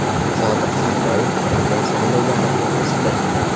Sodiq Safoyev prezident saylovlari to‘g‘risida.